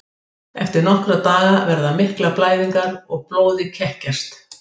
Eftir nokkra daga verða miklar blæðingar og blóðið kekkjast.